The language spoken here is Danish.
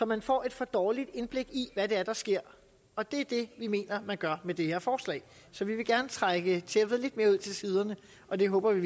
man får et for dårligt indblik i hvad det er der sker og det er det vi mener man gør med det her forslag så vi vil gerne trække tæppet lidt mere ud til siderne og det håber vi